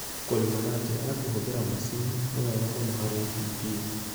Kũrĩma na njĩra ya kũhũthĩra macini; nĩ wega mũno harĩ itindiĩ